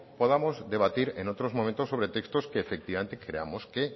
podamos debatir en otros momentos sobre textos que efectivamente creamos que